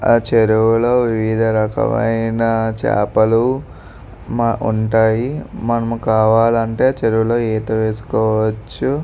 ఆ చెరువు లో వివిధ రకమైన చేపలు ఉంటాయి. మనం కావాలంటే చెరువు లో ఈత వేసుకోవచ్చు.